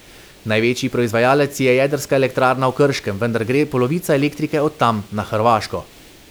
Največji proizvajalec je jedrska elektrarna v Krškem, vendar gre polovica elektrike od tam na Hrvaško.